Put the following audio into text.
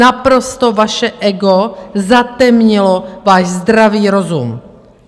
Naprosto vaše ego zatemnilo váš zdravý rozum.